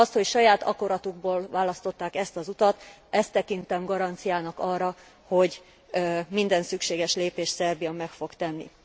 Azt, hogy saját akaratukból választották ezt az utat, ezt tekintem garanciának arra, hogy minden szükséges lépést Szerbia meg fog tenni.